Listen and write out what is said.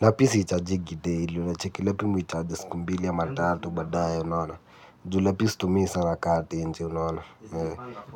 Lapi si ichajingi daily cheki lapi mi huicharge siku mbili ama tatu badae unaona. Juu lapi situmii sana kama tenje unaona.